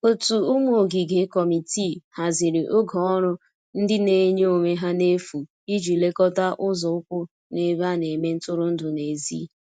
ótu ụmụ ogige/ Kọmitịị hazịrị oge ọrụ ndi n'enye onwe ha n'efu ịji lekota ụzo ukwu n'ebe ana eme ntụrụndụ n'ezi